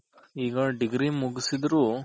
ಈಗ Degree ಮುಗಿಸಿದ್ರು